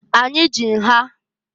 Anyị ji nha.